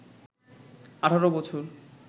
১৮ বছর